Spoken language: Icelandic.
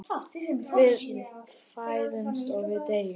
Við fæðumst og við deyjum.